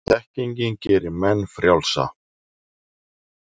þekkingin gerir menn frjálsa